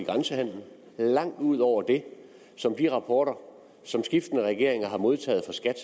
i grænsehandelen langt ud over det som de rapporter som skiftende regeringer har modtaget fra skat